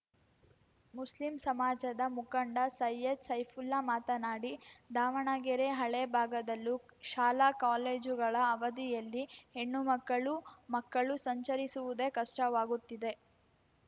Muslim ಸಮಾಜದ ಮುಖಂಡ ಸೈಯದ್‌ ಸೈಫುಲ್ಲಾ ಮಾತನಾಡಿ ದಾವಣಗೆರೆ ಹಳೆ ಭಾಗದಲ್ಲೂ ಶಾಲಾಕಾಲೇಜುಗಳ ಅವದಿಯಲ್ಲಿ ಹೆಣ್ಣು ಮಕ್ಕಳು ಮಕ್ಕಳು ಸಂಚರಿಸುವುದೇ ಕಷ್ಟವಾಗುತ್ತಿದೆ